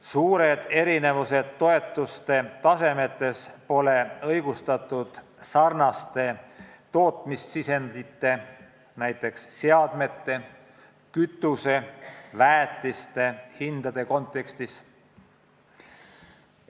Suured erinevused toetuste tasemes pole õigustatud sarnaste tootmissisendite, näiteks seadmete, kütuse ja väetiste hindade kontekstis.